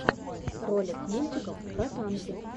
ролик мультиков про танки